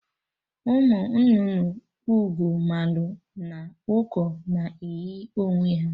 Ụmụ nnụnụ Ugoomalụ na Ụkọ na eyi onwe ha